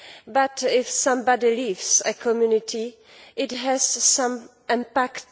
But if somebody leaves a community, it has some impact.